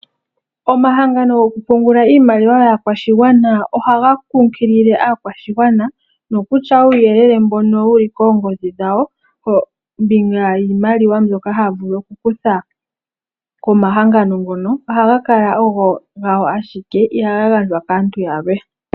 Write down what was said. Omahangano go ku pungula iimaliwa yaakwashigwana ohaga kunkilile aakwashigwana nokutya uuyelele mbono wuli koongodhi dhawo kombinga yiimaliwa mbyoka haya vulu oku kutha komahangano ngonl ohaga kala ogo gawo ashike iha ga gandjwa kaantu yalwe.